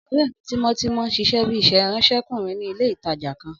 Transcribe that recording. Ọ̀rẹ́ mi tímọ́tímọ́ n ṣiṣẹ́ bíi ìránsẹ́kùnrin ní ilé-ìtánjẹ kan